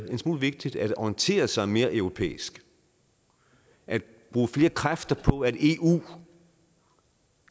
en smule vigtigt at orientere sig mere europæisk at bruge flere kræfter på at eu